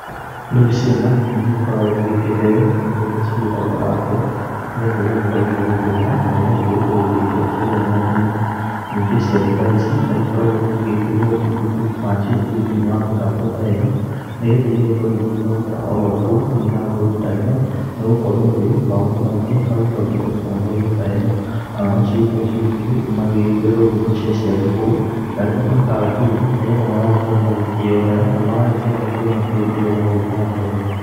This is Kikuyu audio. Rĩu ciana nĩigĩkoragwo igĩkĩheo indo iria cigĩtagwo laptop nĩ getha ĩgagĩkorwo igĩgĩtũmĩra, na igakĩrutwo gũkĩingĩra kũrĩa ng'enda-inĩ. Ningĩ ciana ta ici no ikoragwo igĩgĩkĩrĩrwo mabuku macio kũu thĩini wa mĩtambo ta ĩno, nĩ getha ĩgagĩkorwo igĩgĩthomera oro kũu mĩtambo-inĩ ta ĩno, nĩ gũkorwo rĩu maũndũ maingĩ magĩcokete mĩtambo-inĩ ta ĩno. Ona no cigĩkoragwo cigĩ magĩgĩkĩrĩrwo nyĩmbo cia ciana kũu, na indo ta gatuni, nĩ getha magagĩkorwo magĩkĩyonera, na magagĩkorwo magĩkĩmenya bũrũri ũrĩa ũragĩthiĩ na mbere.